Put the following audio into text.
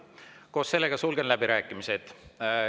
Koos sellega sulgen läbirääkimised.